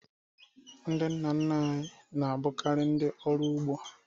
Ndị nna nna anyị na-abụkarị ndị ọrụ ugbo